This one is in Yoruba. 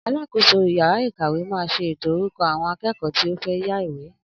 Alákòóso yàrá ìkàwé máa ṣe ètò orúkọ àwọn akẹ́kọ̀ọ́ tí ó fẹ́ yá ìwé